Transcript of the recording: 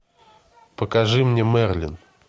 покажи мне мерлин